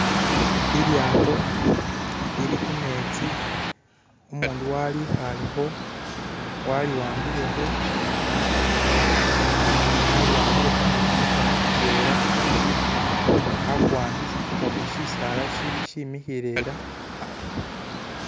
Lilyaato lili khumetsi umundu walikhalekho waliwabilekho aliwambilekho ni kumukhono kutwela ukundi akuwambi ukundi shisaala shili